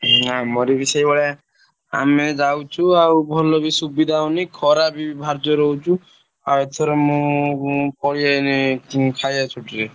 ଆମର ବି ସେଇ ଭଳିଆ ଆମେ ଯାଉଛୁ ଆଉ ଭଲ ବି ସୁବିଧା ହଉନି ଖରା ବି ଭାରି ଜୋରେ ହଉଛି ଆଉ ଏଥର ମୁଁ ପଳେଈ ଆଇଲି ଖାଇଆ ଛୁଟି ରେ ଛାଡ଼ନ୍ତି ନି।